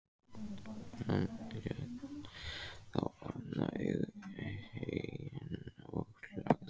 Hann lét þá opna hauginn og lagði